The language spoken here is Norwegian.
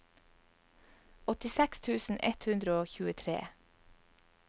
åttiseks tusen ett hundre og tjuetre